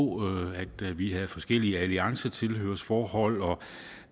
at vi havde forskellige alliancetilhørsforhold og